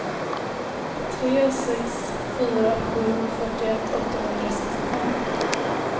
tre sex fyra sju fyrtioett åttahundrasextiofem